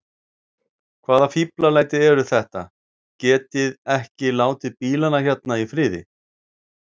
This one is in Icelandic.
Hvaða fíflalæti eru þetta. getiði ekki látið bílana hérna í friði!